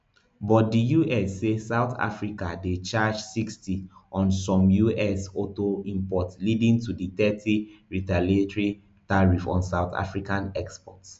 but di us say south africa dey charge sixty on some us auto imports leading to di thirty retaliatory tariff on south african exports